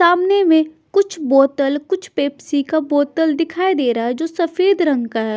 सामने में कुछ बोतल कुछ पेप्सी का बोतल दिखाई दे रहा है जो सफेद रंग का है।